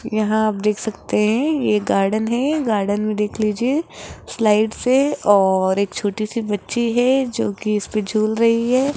यहां आप देख सकते हैं ये गार्डन है गार्डन में देख लीजिए स्लाइड्स है और एक छोटी सी बच्ची है जोकि उसपे झूल रही है।